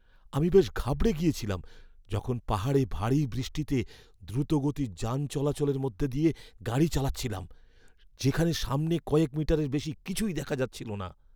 আমি বেশ ঘাবড়ে গেছিলাম যখন পাহাড়ে ভারী বৃষ্টিতে দ্রুতগতির যান চলাচলের মধ্যে দিয়ে গাড়ি চালাচ্ছিলাম যেখানে সামনে কয়েক মিটারের বেশি কিছুই দেখা যাচ্ছিল না!